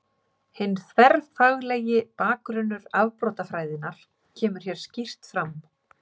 Hinn þverfaglegi bakgrunnur afbrotafræðinnar kemur hér skýrt fram.